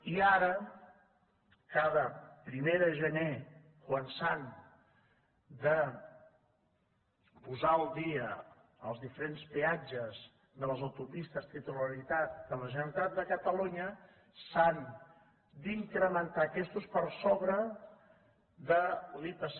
i ara cada primer de gener quan s’han de posar al dia els diferents peatges de les autopistes de titularitat de la generalitat de catalunya s’han d’incrementar aquests per sobre de l’ipc